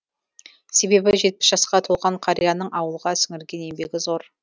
себебі жетпіс жасқа толған қарияның ауылға сіңірген еңбегі зор